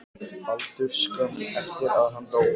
Baldurs skömmu eftir að hann dó.